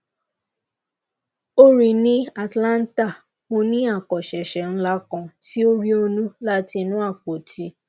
o rii ni atlanta mo ni akosese nla kan ti o rionu lati inu apoti